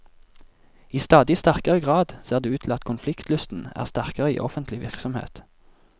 I stadig sterkere grad ser det ut til at konfliktlysten er sterkere i offentlig virksomhet.